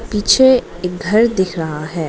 पीछे एक घर दिख रहा है।